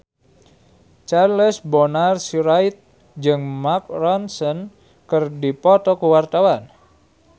Charles Bonar Sirait jeung Mark Ronson keur dipoto ku wartawan